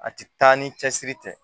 A ti taa ni cɛsiri tɛ